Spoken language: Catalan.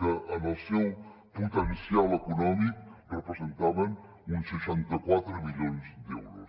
que en el seu potencial econòmic representaven uns seixanta quatre milions d’euros